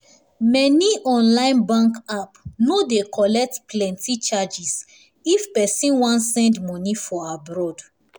many online bank app no dey collect plenti charges if pesin wan send money for abroad